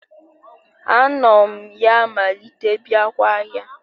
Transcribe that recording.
Anom ya malite biakwa ahia